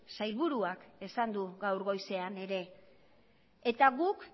sailburuak esan du gaur goizean ere eta guk